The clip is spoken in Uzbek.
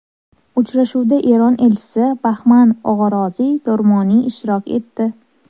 Uchrashuvda Eron Elchisi Bahman Og‘oroziy Do‘rmoniy ishtirok etdi.